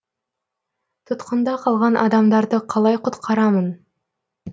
тұтқында қалған адамдарды қалай құтқарамын